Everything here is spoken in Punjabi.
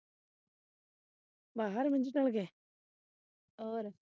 ਬਾਹਰ ਮੰਜੇ ਚੱਲਗੇ।